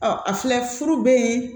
Ɔ a filɛ furu bɛ